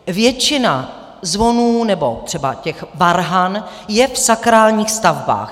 Většina zvonů nebo třeba těch varhan je v sakrálních stavbách.